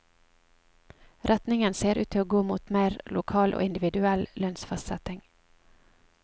Retningen ser ut til å gå mot meir lokal og individuell lønsfastsetting.